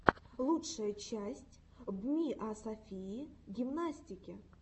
лучшая часть бмиасофии гимнастики